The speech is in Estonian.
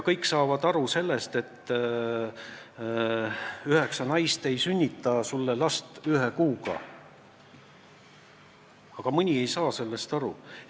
Üldiselt saadakse aru, et üheksa naist ei sünnita sulle last ühe kuuga, aga mõni ei saa sellest aru.